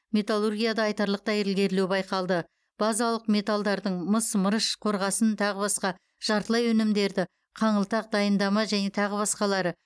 металлургияда айтарлықтай ілгерілеу байқалды базалық металдардың мыс мырыш қорғасын тағы басқа жартылай өнімдерді қаңылтақ дайындама және тағы басқалары